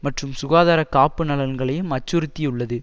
மற்றும் சுகாதார காப்பு நலன்களையும் அச்சுறுத்தியுள்ளது